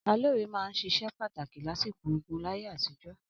Alóre máa ń ṣiṣẹ́ pàtàkì lásìkò ogún láyé àtijọ́.